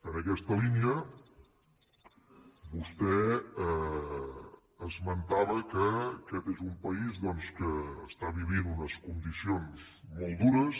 en aquesta línia vostè esmentava que aquest és un país doncs que està vivint unes condicions molt dures